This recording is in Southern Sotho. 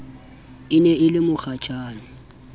e ne e le mokgashane